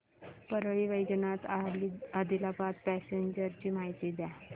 Parli Vaijnath Adilabad passenger ची माहिती द्या